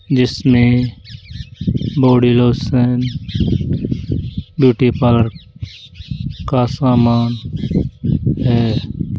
जिसमें body lotion beauty parlour का सामान है।